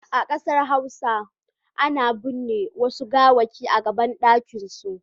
A Kansan hausa ana bin'ne Wasu gawaki a gaban dakin su.